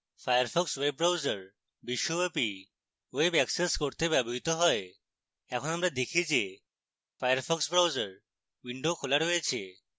firefox web browser বিশ্বব্যাপী web access করতে ব্যবহৃত হয় এখন আমরা দেখি যে firefox browser উইন্ডো খোলা রয়েছে